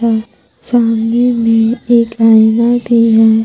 सामने में एक आईना भी है।